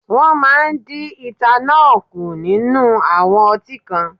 Wọ́n máa dí etanọ́ọ̀ kù nínú àwọn ọtí kan.